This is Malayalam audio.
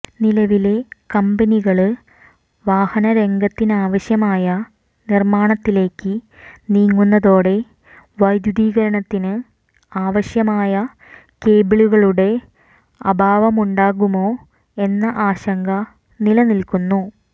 നിലവിലെ കമ്പനികള് വാഹനരംഗത്തിനാവശ്യമായ നിര്മാണത്തിലേക്ക് നീങ്ങുന്നതോടെ വൈദ്യുതീകരണത്തിന് ആവശ്യമായ കേബിളുകളുെട അഭാവമുണ്ടാകുമോ എന്ന ആശങ്ക നിലനില്ക്കുന്നു